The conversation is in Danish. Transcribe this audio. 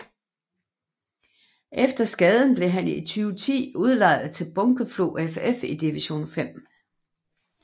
Efter skaden blev han i 2010 udlejet til Bunkeflo FF i division 5